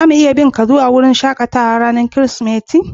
Za mu iya bin ka zuwa wurin shakatawan ranan kiristimeti?